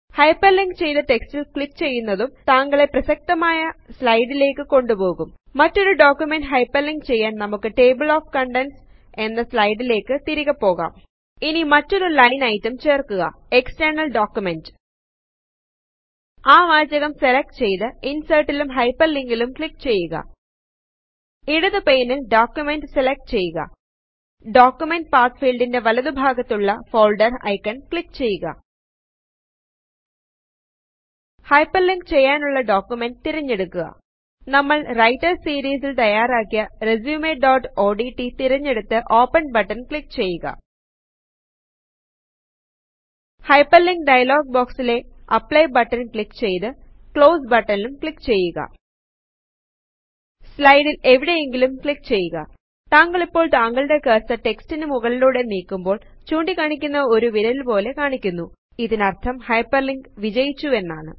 hyperlink ചെയ്തു റ്റെക്സ്റ്റിൽ click ചെയ്യുന്നതും താങ്കളെ പ്രസക്തമായ സ്ലായ്ടിലെക് കൊണ്ടുപോകും മറ്റൊരു ഡോക്യുമെന്റ് ഹൈപെർലിങ്ക് ചെയ്യാൻ നമുക്ക് ടേബിൾ ഓഫ് കണ്ടെന്റ്സ് എന്ന സ്ലായ്ടിലെക് തിരികെപോകാം ഇനി മറ്റൊരു ലൈൻ ഐറ്റം ചേർക്കുക എക്സ്റ്റെർണൽ ഡോക്യുമെന്റ് ആ വാചകം സെലക്ട് ചെയ്തു ഇൻസെർട്ടിലും ഹൈപെർലിങ്കിലും ക്ലിക്ക് ചെയ്യുക ഇടതു പെയ്നിൽ ഡോക്യുമെന്റ് സെലക്ട് ചെയ്യുക ഡോക്യുമെന്റ് പാത്ത് ഫീൽഡിന്റെ വലതു ഭാഗത്തുള്ള ഫോൾഡർ ഐക്കൺ ക്ലിക്ക് ചെയ്യുക ഹൈപെർലിങ്ക് ചെയ്യാനുള്ള ഡോക്യുമെന്റ് തിരഞ്ഞെടുക്കുക നമ്മൾ റൈറ്റർ സിരീസിൽ തയാറാക്കിയ resumeഓഡ്റ്റ് തിരഞ്ഞെടുത്തു ഓപ്പൺ ബട്ടൺ ക്ലിക്ക് ചെയ്യുക ഹൈപെർലിങ്ക് ഡയലോഗ് ബോക്സിലെ അപ്ലൈ ബട്ടൺ ക്ലിക്ക് ചെയ്തു ക്ലോസ് ബട്ടൺ ക്ലിക്ക് ചെയ്യുക സ്ലയടിൽ എവിടെയെങ്കിലും ക്ലിക്ക് ചെയ്യുക താങ്കളിപ്പോൾ താങ്കളുടെ കെർസെർ റ്റെക്സ്റ്റിനു മുകളിലൂടെ നീക്കുമ്പോൾ ചൂണ്ടി കാണിക്കുന്ന ഒരു വിരല് പോലെ കാണിക്കുന്നു ഇതിനർഥം ഹൈപെർലിങ്ക് വിജയിച്ചു എന്നാണ്160